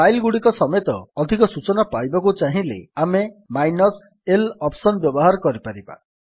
file ଗୁଡ଼ିକ ସମେତ ଅଧିକ ସୂଚନା ପାଇବାକୁ ଚାହିଁଲେ ଆମେ ମାଇନସ୍ l ଅପ୍ସନ୍ ବ୍ୟବହାର କରିପାରିବା